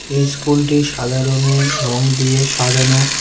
এই স্কুলটি সাদা রঙের রং দিয়ে সাজানো।